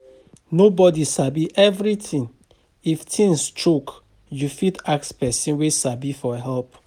Nobody sabi everything, if things choke, you fit ask person wey sabi for help